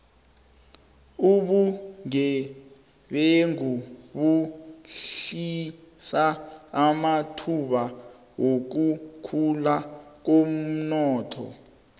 ubugebengu behlisa amathuba wokukhula komnotho